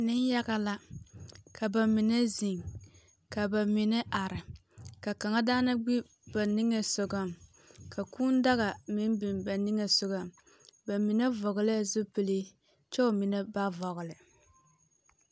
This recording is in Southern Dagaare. Neŋya la. Ka ba mine zeŋ, ka ba mnie are, ka kūū daga meŋ biŋ ba niŋe sogɔŋ. Ba mine vɔgelɛɛ zupile kyɛ mine ba vɔgele.